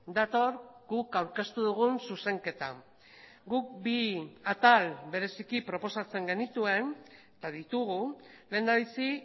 dator guk aurkeztu dugun zuzenketa guk bi atal bereziki proposatzen genituen eta ditugu lehendabizi